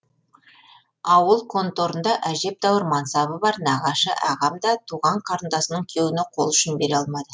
ауыл конторында әжептәуір мәнсабы бар нағашы ағам да туған қарындасының күйеуіне қол ұшын бере алмады